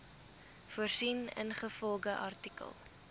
voorsien ingevolge artikel